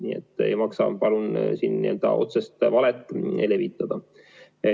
Nii et ei maksa, palun, siin otsest valet levitada.